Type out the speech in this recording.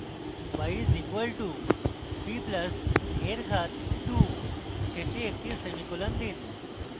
y is equal two b plus a এর ঘাত 2 শেষে একটি semicolon দিন